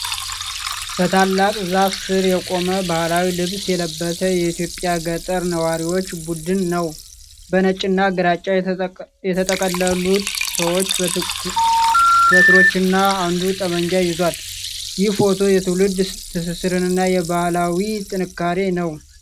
በታላቅ ዛፍ ሥር የቆመ ባህላዊ ልብስ የለበሰ የኢትዮጵያ ገጠር ነዋሪዎች ቡድን ነው። በነጭና ግራጫ የተጠቀለሉት ሰዎች በትሮችና አንዱ ጠመንጃ ይዟል። ይህ ፎቶ የትውልድ ትስስርንና የባህላዊ ጥንካሬ ነው።